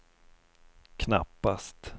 knappast